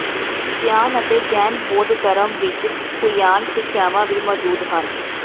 Chan ਅਤੇ ਜੈਨ ਬੌਧ ਧਰਮ ਵਿਚ ਹੂਯਾਨ ਸਿੱਖਿਆਵਾਂ ਵੀ ਮੌਜੂਦ ਹਨ